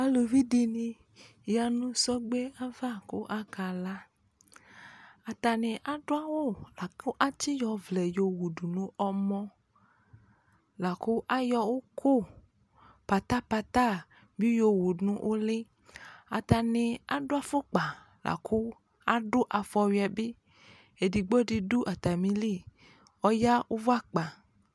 Aluvi dɩnɩ ya nʋ sɔgbe ava kʋ akala, atanɩ adʋ awʋ la kʋ atsɩyɔ ɔvlɛ yɔwu dʋ nʋ ɔmɔ, la kʋ ayɔ ʋkʋ pata-pata bɩ yɔwu nʋ ʋlɩ, atanɩ adʋ afɔkpa la kʋ adʋ afɔwɩ yɛ bɩ, edigbo dɩ dʋ atamili ɔya ʋvʋ akpa